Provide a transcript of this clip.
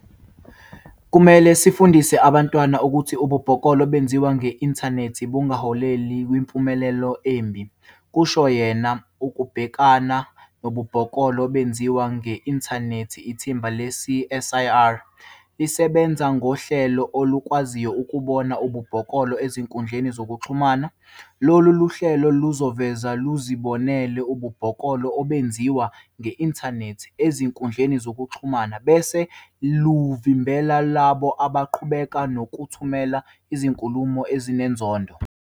"Kufanele sifundise abantwana ukuthi ububhoklolo obenziwa nge-inthanethi bungaholela kwimiphumela emibi,"kusho yena. Ukubhekana nobubhoklolo obenziwa nge-inthanethi, ithimba le-CSIR lisebenza ngohlelo olukwaziyo ukubona ububhoklolo ezinkundleni zokuxhumana. "Lolu hlelo luzovele luzibonele ububhoklolo obenziwa nge-inthanethi ezinkundleni zokuxhumana bese luvimbela labo abaqhubeka nokuthumela izinkulumo ezinenzondo.